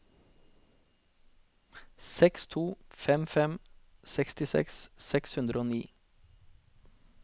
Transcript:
seks to fem fem sekstiseks seks hundre og ni